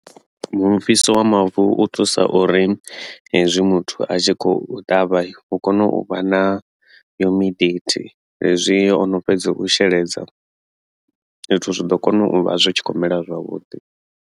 Mufhiso wa mavu u thusa uri hezwi muthu a tshi khou ṱavha hu kone u vha na hezwi ono fhedza u sheledza zwithu zwi ḓo kona u vha zwi tshi kho mela zwavhuḓi.